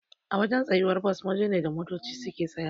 Awajan tsayuwar Bus waje ne da motoci suke tsayawa